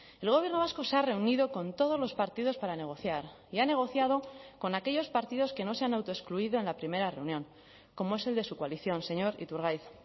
el gobierno vasco se ha reunido con todos los partidos para negociar y ha negociado con aquellos partidos que no se han autoexcluido en la primera reunión como es el de su coalición señor iturgaiz